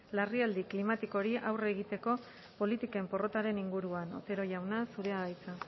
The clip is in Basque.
larrialdi klimatikoari aurre egiteko politiken porrotaren inguruan otero jauna zurea da hitza